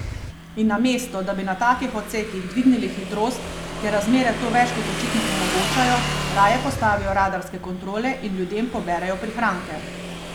In namesto, da bi na takih odsekih dvignili hitrost, ker razmere to več kot očitno omogočajo, raje postavijo radarske kontrole in ljudem poberejo prihranke...